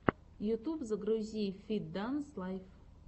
ютуб загрузи фит данс лайф